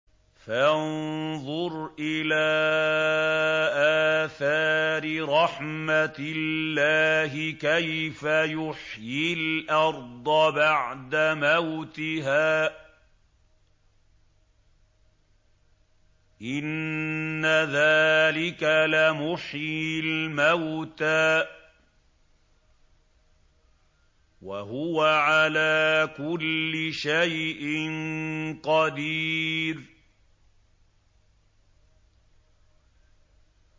فَانظُرْ إِلَىٰ آثَارِ رَحْمَتِ اللَّهِ كَيْفَ يُحْيِي الْأَرْضَ بَعْدَ مَوْتِهَا ۚ إِنَّ ذَٰلِكَ لَمُحْيِي الْمَوْتَىٰ ۖ وَهُوَ عَلَىٰ كُلِّ شَيْءٍ قَدِيرٌ